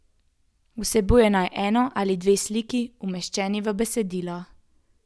Vsebuje naj eno ali dve sliki, umeščeni v besedilo.